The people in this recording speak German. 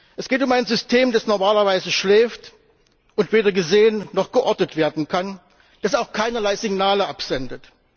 Es geht um ein System, das normalerweise schläft und weder gesehen noch geortet werden kann, das auch keinerlei Signale absendet.